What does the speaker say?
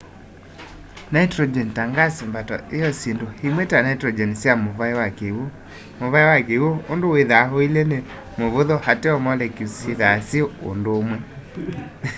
nitrogen ta ngasi mbato yio syindu o imwe ta nitrogen sya muvai wa kiw'u muvai wa kiw'u undu withwaa uilye ni muvuthu ateo molecules syithwaa syi undumwe